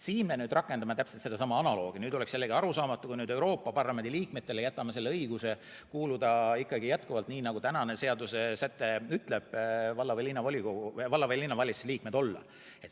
Siin me rakendame täpselt sedasama analoogi ja oleks jällegi arusaamatu, kui me jätame Euroopa Parlamendi liikmetele õiguse valla- või linnavalitsuse liikmed olla.